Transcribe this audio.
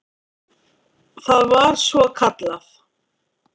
Það var svokallað